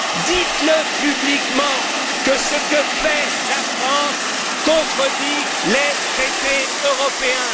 Dites le publiquement, que ce que fait la France contredit les traités européens.